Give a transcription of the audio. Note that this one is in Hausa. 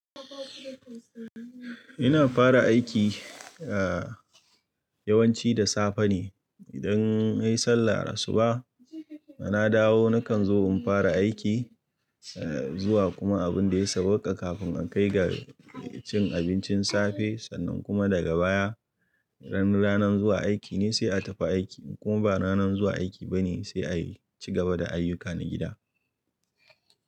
Ina fara aiki yawanci da safe ne. Idan nayi sallah asuba, na dawo nakan zo in fara aiki zuwa kuma abin da ya sauka kafin an kai ga cin abincin safe. Sannan kuma daga baya, ran ranan zuwa aiki ne sai a tafi aiki ko ba ranan zuwa aiki ba ne sai a ci gaba da ayyuka na gida.